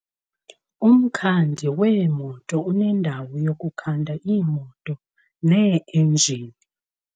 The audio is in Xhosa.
Umkhandi weemoto unendawo yokukhanda iimoto neeinjini.